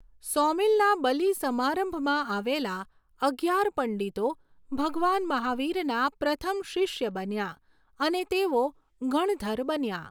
સોમિલના બલિ સમારંભમાં આવેલ અગિયાર પંડિતો ભગવાન મહાવીરના પ્રથમ શિષ્ય બન્યા અને તેઓ ગણધર બન્યા.